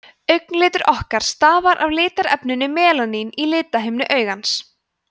augnlitur okkar stafar af litarefninu melaníni í lithimnu augans